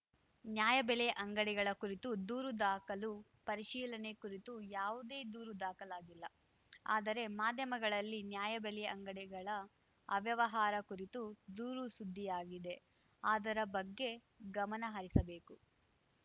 ನ್ಯಾಯಬೆಲೆ ಅಂಗಡಿಗಳ ಕುರಿತು ದೂರು ದಾಖಲು ಪರಿಶೀಲನೆ ಕುರಿತು ಯಾವುದೇ ದೂರು ದಾಖಲಾಗಿಲ್ಲ ಆದರೆ ಮಾಧ್ಯಮಗಳಲ್ಲಿ ನ್ಯಾಯಬೆಲೆ ಅಂಗಡಿಗಳ ಅವ್ಯವಹಾರ ಕುರಿತು ದೂರು ಸುದ್ದಿಯಾಗಿದೆ ಅದರ ಬಗ್ಗೆ ಗಮನಹರಿಸಬೇಕು